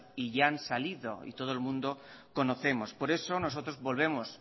y ya han salido y todo el mundo conocemos por eso nosotros volvemos